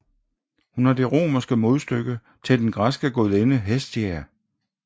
Hun er det romerske modstykke til den græske gudinde Hestia